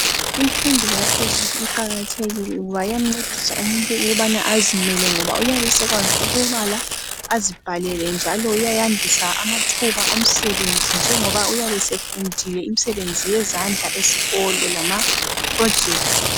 imfundo yaphezulu iqakathekile ngoba iyamncedisa umuntu ukubana azimele ngoba uyabe esekwazi ukubala azibhalele njalo iyayandisa amathuba omsebenzi njengoba uyabe sefundile imisebenzi yezandla esikolo lama project